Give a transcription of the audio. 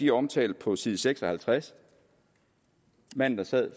er omtalt på side seks og halvtreds manden der sad